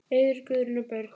Eiður, Guðrún og börn.